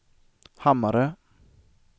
Hammarö